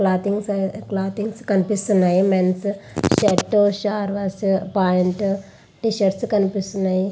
Clothings అనే clothings కనిపిస్తున్నాయి. Men's shirt సార్వాస్ ప్యాంట్ టీ షర్ట్స్ కనిపిస్తున్నాయి.